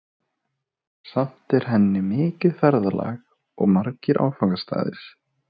Samt er í henni mikið ferðalag og margir áfangastaðir.